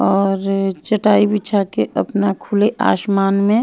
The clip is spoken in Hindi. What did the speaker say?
और चटाई बिछा के अपना खुले आसमान में--